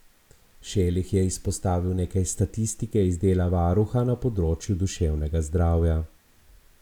Šelih je izpostavil nekaj statistike iz dela varuha na področju duševnega zdravja.